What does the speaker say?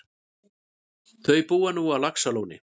Þau búa nú á Laxalóni.